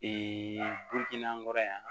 an kɔrɔ yan